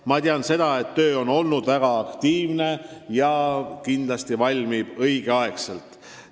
Ma tean seda, et töö on olnud väga aktiivne ja kindlasti valmib kokkuvõte õigeks ajaks.